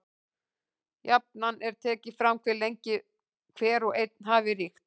Jafnan er tekið fram hve lengi hver og einn hafi ríkt.